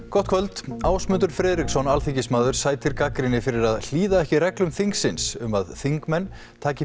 gott kvöld Ásmundur Friðriksson alþingismaður sætir gagnrýni fyrir að hlýða ekki reglum þingsins um að þingmenn taki